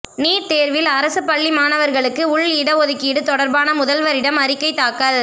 NEET தேர்வில் அரசு பள்ளி மாணவர்களுக்கு உள் இடஒதுக்கீடு தொடர்பான முதல்வரிடம் அறிக்கை தாக்கல்